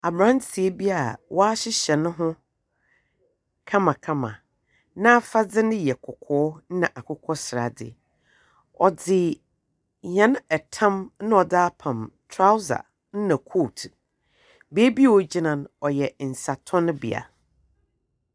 Aberanteɛ bi a wahyehyɛ ne ho kamakama. N'afadze no yɛ kɔkɔɔ na akokɔ sradze. Ɔdze yɛn ɛtam na ɔdze apam trouser na coat. Beebi a ɔgyina no yɛ nsatɔnbea.